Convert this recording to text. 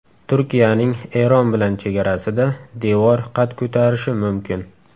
Turkiyaning Eron bilan chegarasida devor qad ko‘tarishi mumkin.